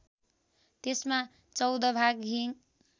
त्यसमा १४ भाग हिङ